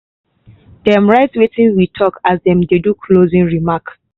dem write wetin we talk as dem dey do closing remark.